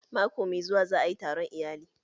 Mako mai zuwa za ayi taron iyali